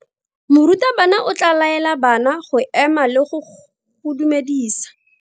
Morutabana o tla laela bana go ema le go go dumedisa.